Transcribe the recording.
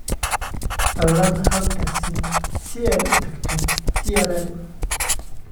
ballan hal taksi si aad u tagto trm